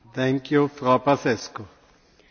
Am votat în favoarea raportului.